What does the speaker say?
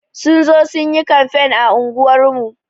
Sun zo sun yi kamfen a unguwar mu.